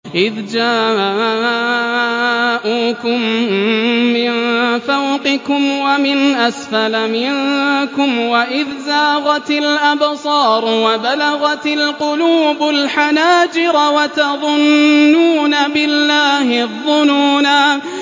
إِذْ جَاءُوكُم مِّن فَوْقِكُمْ وَمِنْ أَسْفَلَ مِنكُمْ وَإِذْ زَاغَتِ الْأَبْصَارُ وَبَلَغَتِ الْقُلُوبُ الْحَنَاجِرَ وَتَظُنُّونَ بِاللَّهِ الظُّنُونَا